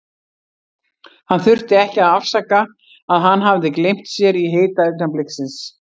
Hann þurfti ekki að afsaka að hann hafði gleymt sér í hita augnabliksins.